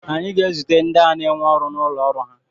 anyị ga-ezute ndị ahụ n'énwe ọrụ n'ụlọ ọrụ ha